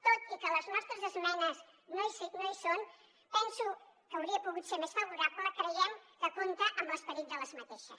tot i que les nostres esmenes no hi són penso que hauria pogut ser més favorable creiem que compta amb l’esperit d’aquestes